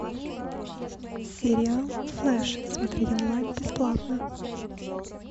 сериал флеш смотреть онлайн бесплатно